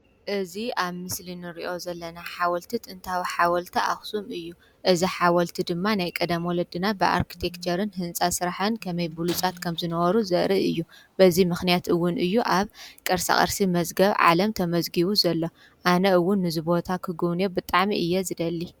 እዚ ኣብ ምስሊ ንሪኦ ዘለና ሓወልቲ ጥንታዊ ሓወልቲ ኣኽሱም እዩ። እዚ ሓወልቲ ድማ ናይ ቀደም ወለድና ብኣርክቴክቸርን ህንፃ ስራሕን ከመይ ብሉፃት ከም ዝነበሩ ዘርኢ እዩ። በዚ ምኽንያት እዉን እዩ ኣብ ቅርሳቅርሲ መዝገብ ዓለም ተመዝጊቡ ዘሎ። ኣነ እዉን ነዚ ቦታ ክግዉንዮ ብጣዕሚ እየ ዝደሊ።